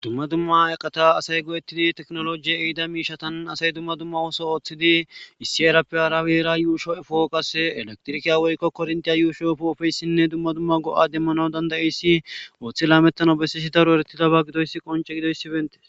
Dumma dumma eqata asay go'ettidi teknolojiye eida miishatan asay dumma dumma wooso ooththidi issi erappe arawera yuusho'e fooqas elektrikiya woykko korntiya yuushoofu ofeyssinne dumma dumma go'a demmana dandayiyssi ooththi laamettano bessisi daro eretidaba gidoyssi qonce gidoyssi beetes.